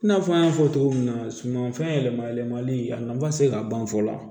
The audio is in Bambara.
I n'a fɔ an y'a fɔ cogo min na sumanfɛn yɛlɛma yɛlɛmali a nafa tɛ se ka ban fɔ la